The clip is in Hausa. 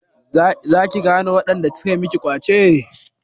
Za ki gane waɗanda suka miki ƙwace?